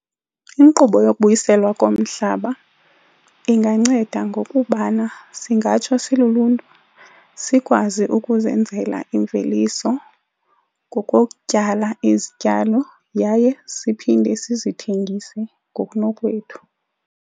Inkqubo yokubuyiselwa komhlaba inganceda ngokubana singatsho siluluntu sikwazi ukuzenzela imveliso ngokokutyala izityalo yaye siphinde sizithengise ngokunokwethu.